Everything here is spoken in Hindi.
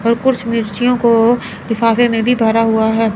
और कुछ मिर्चियों को लिफाफे में भी भरा हुआ है।